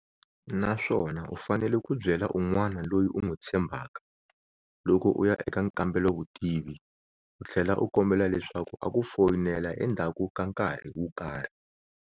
Naswona u fanele ku byela un'wana loyi u n'wi tshembhaka loko u ya eka nkambelovutivi u tlhela u kombela leswaku a ku foyinela endhaku ka nkarhi wo karhi.